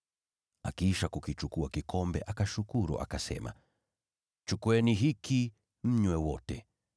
Akiisha kukichukua kikombe, akashukuru, akasema, “Chukueni hiki mnywe wote.